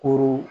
Kurun